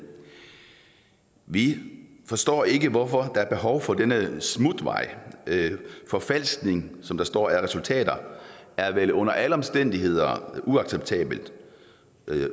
vi forstår ikke hvorfor der er behov for denne smutvej forfalskning som der står af resultater er vel under alle omstændigheder uacceptabelt